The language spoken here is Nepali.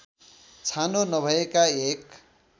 छानो नभएका एक